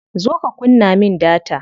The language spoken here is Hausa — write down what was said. Zo ka kunna min data.